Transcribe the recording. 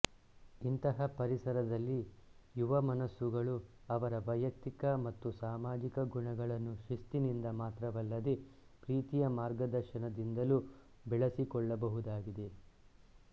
ಇಂತಹ ಪರಿಸರದಲ್ಲಿ ಯುವ ಮನಸ್ಸುಗಳು ಅವರ ವೈಯಕ್ತಿಕ ಮತ್ತು ಸಾಮಾಜಿಕ ಗುಣಗಳನ್ನು ಶಿಸ್ತಿನಿಂದ ಮಾತ್ರವಲ್ಲದೇ ಪ್ರೀತಿಯ ಮಾರ್ಗದರ್ಶನದಿಂದಲೂ ಬೆಳೆಸಿಕೊಳ್ಳ ಬಹುದಾಗಿದೆ